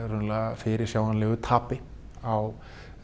fyrirsjáanlegu tapi á